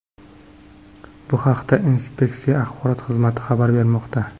Bu haqda inspeksiya axborot xizmati xabar bermoqda .